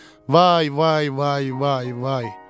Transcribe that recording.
Vay, vay, vay, vay, vay.